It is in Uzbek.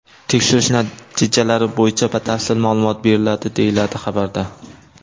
Tekshirish natijalari bo‘yicha batafsil ma’lumot beriladi”, deyiladi xabarda.